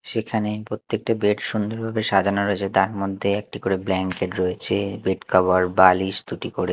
সেখানে প্রত্যেকটা বেড সুন্দরভাবে সাজানো রয়েছে তার মধ্যে একটি ব্ল্যাঙ্কেট রয়েছে বেডকভার বালিশ দুটি করে--